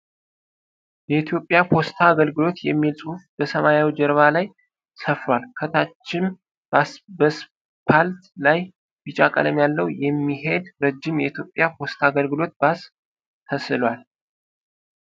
የኢትዮጵያ ፖስታ አገልግሎት የሚል ጽሁፍ በሰማያዊ ጀርባ ላይ ሰፍሯል። ከታችም በስፓልት ላይ ቢጫ ቀለም ያለው የሚሄድ ረጅም የኢትዮጵያ ፖስታ አገልግሎት ባስ ተስሏል።